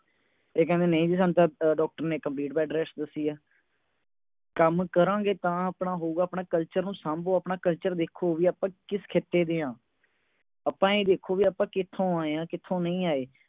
ਇਹ ਕਹਿੰਦੀਆਂ ਨਹੀਂ ਜੀ ਸਾਨੂੰ ਤਾਂ doctor ਨੇ complete bed rest ਦੱਸੀ ਹੈ ਕੰਮ ਕਰਾਂਗੇ ਤਾਂ ਆਪਣਾ ਹੋਊਗਾ ਆਪਣੇ culture ਨੂੰ ਸਾਂਭੋ ਆਪਣਾ culture ਦੇਖੋ ਕਿ ਬਈ ਆਪਾਂ ਕਿਸ ਖਿੱਤੇ ਦੇ ਹਾਂ ਆਪਾਂ ਇਹ ਦੇਖੋ ਕੇ ਆਪਾਂ ਕਿਥੋਂ ਆਈਆਂ ਕਿੱਥੋਂ ਨਹੀਂ ਆਏ